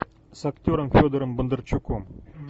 с актером федором бондарчуком